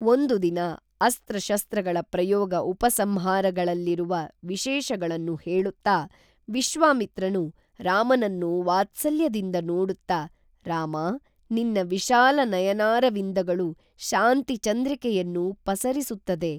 ಒಂದುದಿನ ಅಸ್ತ್ರಶಸ್ತ್ರಗಳ ಪ್ರಯೋಗ ಉಪಸಂಹಾರಗಳಲ್ಲಿರುವ ವಿಶೇಷಗಳನ್ನು ಹೇಳುತ್ತಾ ವಿಶ್ವಾಮಿತ್ರನು ರಾಮನನ್ನು ವಾತ್ಸಲ್ಯದಿಂದ ನೋಡುತ್ತ ರಾಮಾ ನಿನ್ನ ವಿಶಾಲ ನಯನಾರವಿಂದಗಳು ಶಾಂತಿ ಚಂದ್ರಿಕೆಯನ್ನು ಪಸರಿಸುತ್ತದೆ